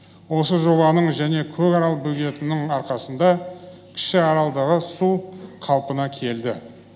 осы жобаның және көкарал бөгетінің арқасында кіші аралдағы су қалпына келді